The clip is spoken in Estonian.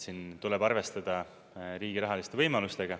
Siin tuleb arvestada riigi rahaliste võimalustega.